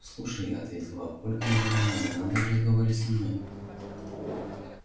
слушай ответил папулька нервно не надо в разговоре со мной